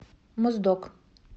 моздок